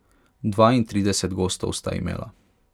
Dvaintrideset gostov sta imela.